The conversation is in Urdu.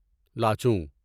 لاچونگ